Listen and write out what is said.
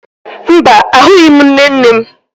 Mba, ahụghị m nne nne m